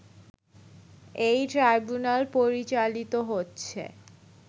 এই ট্রাইব্যুনাল পরিচালিত হচ্ছে